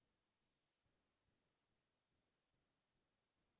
সেইটো জীৱনত প্ৰথম বাৰৰ বাবে ঘৰাত উথিছিলো